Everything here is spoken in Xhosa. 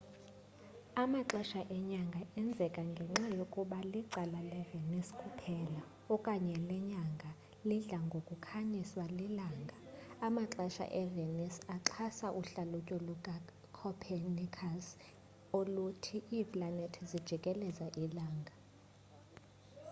amaxesha enyanga enzeka ngenxa yokuba licala levenus kuphela okanye lenyanga elidla ngokukhanyiswa lilanga. amaxesha evenus axhasa uhlalutyo lukacopernicus oluthi iiplanethi zijikeleza ilanga